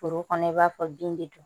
Foro kɔnɔ i b'a fɔ bin bɛ dun